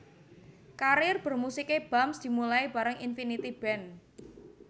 Karir bermusiké Bams dimulai bareng Infinity Band